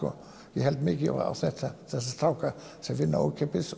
ég held mikið á þetta þessa stráka sem vinna ókeypis